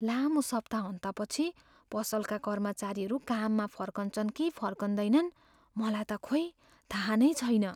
लामो सप्ताहन्तपछि पसलका कर्मचारीहरू काममा फर्कन्छन् कि फर्किँदैनन्, मलाई त खोई थाहा नै छैन।